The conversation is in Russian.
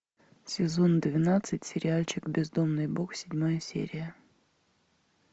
сезон двенадцать сериальчик бездомный бог седьмая серия